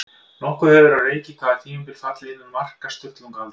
Nokkuð hefur verið á reiki hvaða tímabil falli innan marka Sturlungaaldar.